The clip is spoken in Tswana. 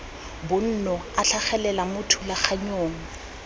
bonno a tlhagelela mo thulaganyong